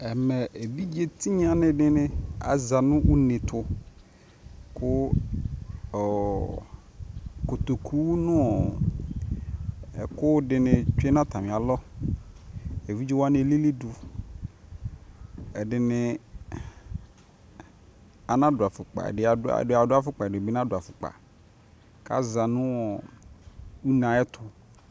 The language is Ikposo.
ɛmɛ ɛvidzɛ tinya dini aza nʋ ʋnɛ tʋ kʋ kɔtɔkʋ nʋ ɛkʋ dini twɛ nʋ atami alɔ, ɛvidzɛ wani ɛlili dʋ, ɛdiniana dʋ aƒʋkpa, ɛdini adʋaƒʋkpa ɛdini nadʋ aƒʋkpa kʋ aza nʋɔ ʋnɛ ayɛtʋ